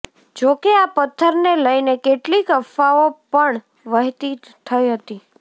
જોકે આ પથ્થરને લઇને કેટલીક અફવાઓ પણ વહેતી થઇ હતી